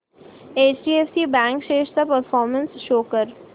HDFC bank shares चा performance show कर